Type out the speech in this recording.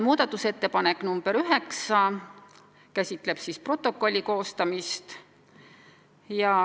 Muudatusettepanek nr 9 käsitleb protokolli koostamist.